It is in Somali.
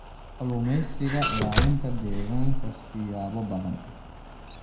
Kalluumeysiga Ilaalinta Deegaanka siyaabo badan.